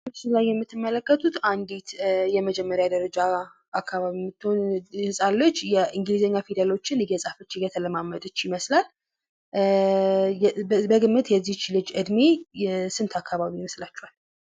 በምስሉ ላይ የምትመለከቱት አንዲት የመጀመሪያ ደረጃ አካበቢ የምትሆን ህፃን ልጅ የእንግሊዘኛ ፊደሎችን እየፃፈች እየተለማመደች ይመስላል። እእእእ በግምት የዚች ልጅ እድሜ ስንት አከባቢ ይመስላችኃል?